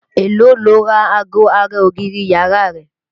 Èló lo ra ago ara ògiri yàrá rẹ?